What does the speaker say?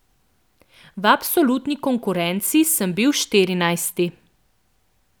V absolutni konkurenci sem bil štirinajsti.